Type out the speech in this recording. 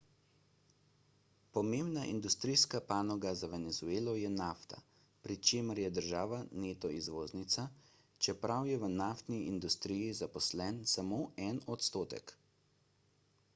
pomembna industrijska panoga za venezuelo je nafta pri čemer je država neto izvoznica čeprav je v naftni industriji zaposlen samo en odstotek